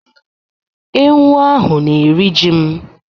Ewu ahụ na-eri ji m.